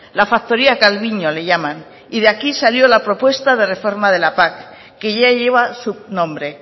la factoría calviño le llaman y de aquí salió la propuesta de reforma de la pac que ya lleva su nombre